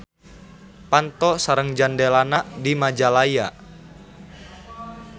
Panto sareng jandelana di Majalaya.